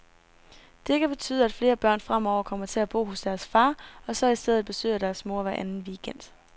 Det kan betyde, at flere børn fremover kommer til at bo hos deres far, og så i stedet besøger deres mor hver anden weekend.